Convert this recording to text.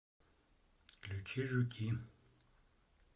включи жуки